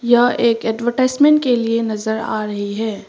यह एक एडवर्टाइजमेंट के लिए नजर आ रही है।